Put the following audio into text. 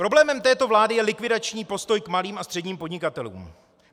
Problémem této vlády je likvidační postoj k malým a středním podnikatelům.